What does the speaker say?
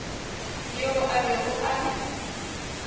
yo a bego a le